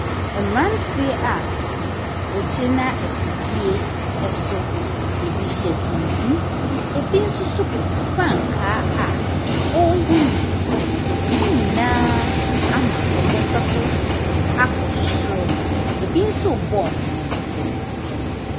Mmeranteɛ a wɔgyina afidie so. Ɛbi hyɛ tuntum, ɛbi nso so kuta frankaa a ɔrehinhim, na wn nyinaa ama wɔn nsa so akɔ soro. Bi nso rebɔ wɔn nsam.